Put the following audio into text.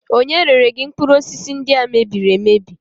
Ònye rere gị mkpụrụ osisi ndị a e mebiri emebi?